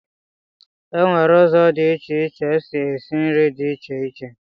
Enwere ụzọ dị iche iche esi esi nri dị iche iche.